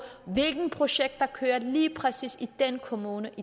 hvilket projekt der kører lige præcis i den kommune